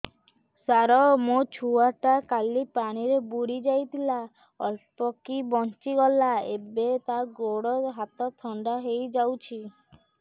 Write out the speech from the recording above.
ସାର ମୋ ଛୁଆ ଟା କାଲି ପାଣି ରେ ବୁଡି ଯାଇଥିଲା ଅଳ୍ପ କି ବଞ୍ଚି ଗଲା ଏବେ ତା ଗୋଡ଼ ହାତ ଥଣ୍ଡା ହେଇଯାଉଛି